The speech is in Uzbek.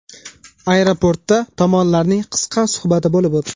Aeroportda tomonlarning qisqa suhbati bo‘lib o‘tdi.